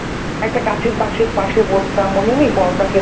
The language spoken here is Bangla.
একটা গাছের পাশে পাশে বসতাম মনে নেই পরোটা খেতাম ।